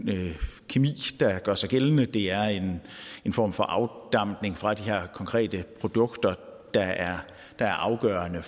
kemi der gør sig gældende det er en form for afdampning fra de her konkrete produkter der er er afgørende